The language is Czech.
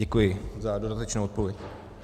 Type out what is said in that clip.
Děkuji za dodatečnou odpověď.